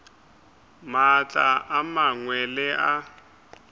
maatla a mangwe le a